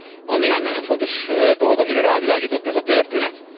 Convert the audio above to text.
Van néhány nagyon fontos dolog, amire rávilágított ez a történet.